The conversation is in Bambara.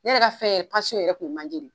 Ne yɛrɛ ka fɛn yɛrɛ k'u ye manje de ye.